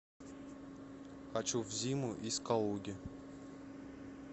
хочу в зиму из калуги